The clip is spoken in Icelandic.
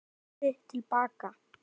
Lalli horfði til baka.